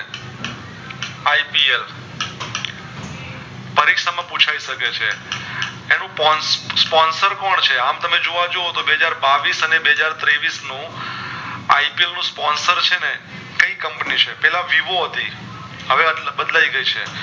આમ પૂછય શકે છે એનું sponsor એનું sponsor કોણ છે આંતમે જોવા જાઓ તો બે હાજર બાવીશ અને બેહજાર ત્રેવીશ નું IPL નું sponsor છે ને કે Company છે પેલા vivo હતી હવે બદલાય ગય છે